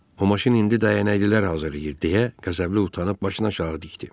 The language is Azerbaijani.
o maşın indi dəyənəklilər hazırlayır, deyə Qəzəbli utanıb başını aşağı dikdi.